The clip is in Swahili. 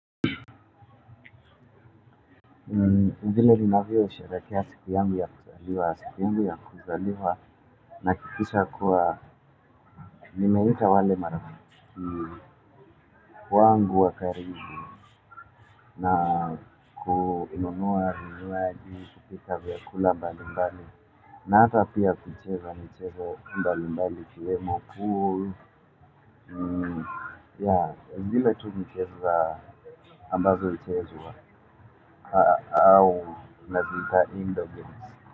Vile ninavyosherehekea siku yangu ya kuzaliwa, siku yangu ya kuzaliwa, nahakikisha kuwa, nimeita wale marafiki, wangu wa karibu, na kuinunua vinywaji, kupika vyakula mbalimbali, na hata pia kucheza michezo mbalimbali, ikiwemo pool, ya, ni zile tu michezo za ambazo huchezwa, au naziita indoor games.